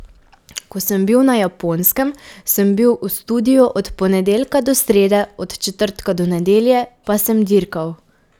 Ko sem bil na Japonskem, sem bil v studiu od ponedeljka do srede, od četrtka do nedelje pa sem dirkal.